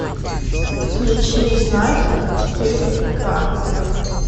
включи знаки четыре ка